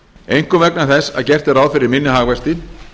einkum vegna þess að gert er ráð fyrir minni hagvexti